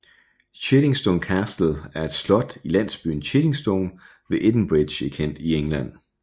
Chiddingstone Castle er et slot i landsbyen Chiddingstone ved Edenbridge i Kent i England